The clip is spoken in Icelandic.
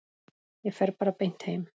Ég fer bara beint heim.